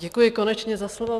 Děkuji konečně za slovo.